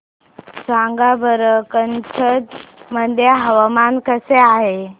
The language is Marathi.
सांगा बरं कच्छ मध्ये हवामान कसे आहे